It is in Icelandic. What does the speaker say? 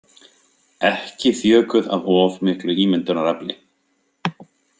Ekki þjökuð af of miklu ímyndunarafli.